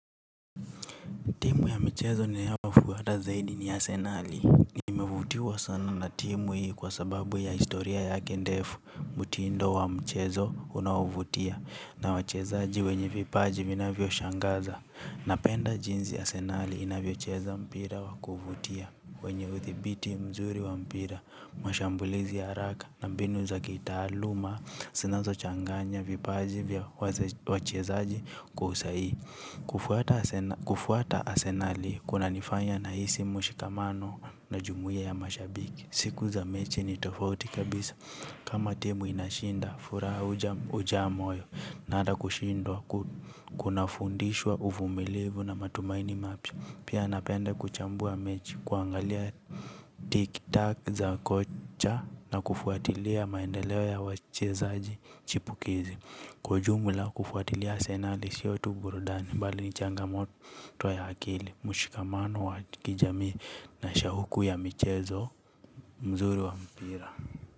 Timu ya mchezo ninayo fuata zaidi ni asenali. Nimevutiwa sana na timu hii kwa sababu ya historia yake ndefu. Mtindo wa mchezo unaovutia na wachezaji wenye vipaji vinavyo shangaza. Napenda jinzi asenali inavyo cheza mpira wa kuvutia. Wenye uthibiti mzuri wa mpira, mashambulizi ya haraka na mbinu za kitaaluma. Sinazo changanya vipaji vya wachezaji kwa usaihi. Kufuata asenali kuna nifanya na hisi mshikamano na jumuia ya mashabiki. Siku za mechi ni tofauti kabisa kama timu inashinda furaha ujaa moyo na ata kushindwa kuna fundishwa uvumilivu na matumaini mapya. Pia napenda kuchambua mechi kuangalia tik tak za kocha na kufuatilia maendeleo ya wachezaji chipukizi. Kwa ujumula kufuatilia asenali sio tu burudani bali ni changamoto ya akili. Mshikamano wa kijamii na shahuku ya michezo. Mzuri wa mpira.